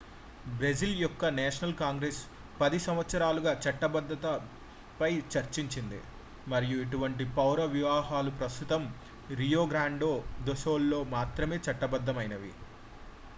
Brazil యొక్క national Congress 10 సంవత్సరాలుగా చట్టబద్ధతపై చర్చించింది మరియు ఇటువంటి పౌర వివాహాలు ప్రస్తుతం రియో గ్రాండే దో సుల్ లో మాత్రమే చట్టబద్ధమైనవి